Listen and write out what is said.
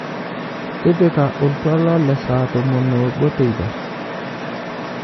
tipika oltwala le saa tomon obo teipa